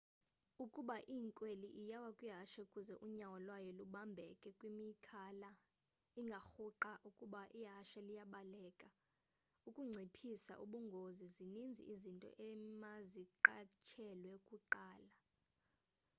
ukuba inkweli iyawa kwihashe kuze unyawo lwayo lubambeke kwimikhala, ingarhuqwa ukuba ihashe liyabaleka.ukunciphisa ubungozi zininzi izinto emaziqatshelwe kuqala